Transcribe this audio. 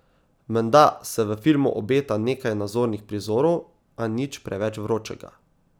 Menda se v filmu obeta nekaj nazornih prizorov, a nič preveč vročega.